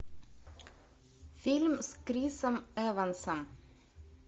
фильм с крисом эвансом